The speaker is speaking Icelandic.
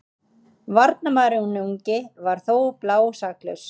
Varnarmaðurinn ungi var þó blásaklaus.